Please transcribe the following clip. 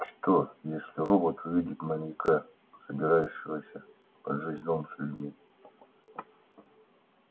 что если робот увидит маньяка собирающегося поджечь дом с людьми